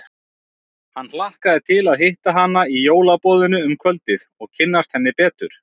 Hann hlakkaði til að hitta hana í jólaboðinu um kvöldið og kynnast henni betur.